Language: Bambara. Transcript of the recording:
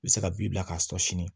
I bɛ se ka bin bila k'a sɔ sini